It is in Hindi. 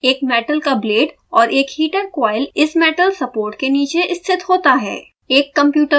एक मेटल का ब्लेड और एक हीटर कॉइल इस मेटल सपोर्ट के नीचे स्थित होता है